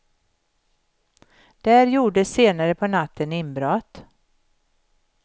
Där gjordes senare på natten inbrott.